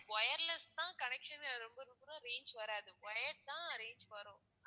wireless தான் connection ல ரொம்ப ரொம்ப reach வராது wire தான் reach வரும்